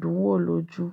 dùn wò lójú.